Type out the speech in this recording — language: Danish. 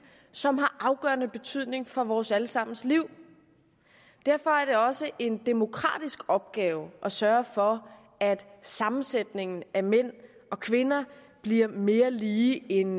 som har afgørende betydning for vores alle sammens liv derfor er det også en demokratisk opgave at sørge for at sammensætningen af mænd og kvinder bliver mere lige end